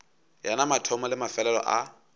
yena mathomo le mefelelo a